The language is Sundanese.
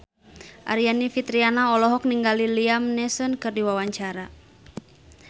Aryani Fitriana olohok ningali Liam Neeson keur diwawancara